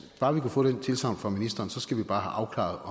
bare vi kunne få det tilsagn fra ministeren så skal vi bare have